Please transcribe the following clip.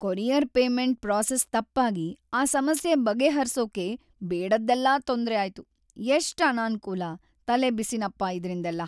Courier payment process ತಪ್ಪಾಗಿ ಆ ಸಮಸ್ಯೆ ಬಗೆಹರ್ಸೋಕೆ ಬೇಡದ್ದೆಲ್ಲ ತೊಂದ್ರೆ ಆಯ್ತು. ಎಷ್ಟ್ ಅನಾನ್ಕೂಲ, ತಲೆಬಿಸಿನಪ್ಪ ಇದ್ರಿಂದೆಲ್ಲ.